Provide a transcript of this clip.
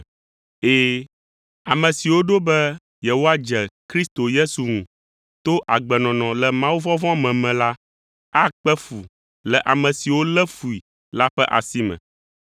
Ɛ̃, ame siwo ɖo be yewoadze Kristo Yesu ŋu to agbenɔnɔ le mawuvɔvɔ̃ me me la akpe fu le ame siwo lé fui la ƒe asi me.